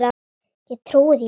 Ég trúi því ekki,